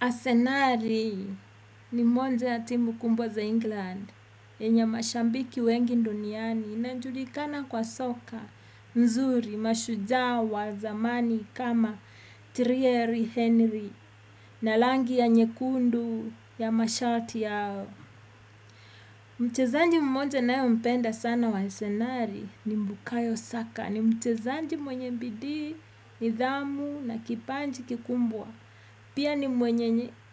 Asenali ni mwanzo ya timu kubwa za England yenye mashabiki wengi duniani inajulikana kwa soka mzuri mashujaa wa zamani kama Trieri Henry na rangi ya nyekundu ya mashati yao. Mchezaji mmoja ninaempenda sana wa asenali ni mbukayo saka. Ni mchezaji mwenye bidii, nidhamu na kipaji kikubwa. Pia ni